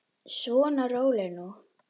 Svona, rólegur nú.